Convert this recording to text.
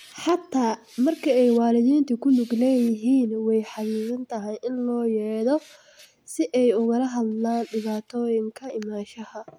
Xataa marka ay waalidiintu ku lug leeyihiin way xaddidan tahay in loo yeedho si ay ugala hadlaan dhibaatooyinka imaanshaha.